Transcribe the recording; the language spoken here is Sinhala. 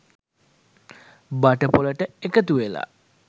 බටපොලට එකතුවෙලා